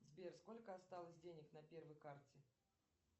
сбер сколько осталось денег на первой карте